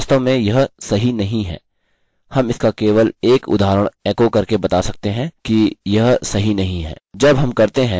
हम इसका केवल एक उदहारण एको करके बता सकते हैं कि यह सही नहीं है